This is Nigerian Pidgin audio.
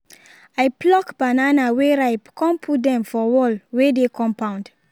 i pluck banana wey ripe con put dem for wall wey dey compound